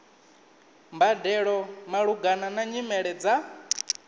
mbadelo malugana na nyimele dza